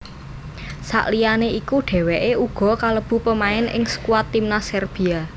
Sakliyane iku dhèwèké uga kalebu pemain ing skuad timnas Serbia